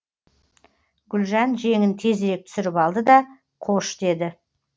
гүлжан жеңін тезірек түсіріп алды да қош деді